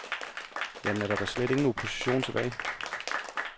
Jamen, er der da slet ingen opposition tilbage?